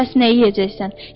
Bəs nə yeyəcəksən?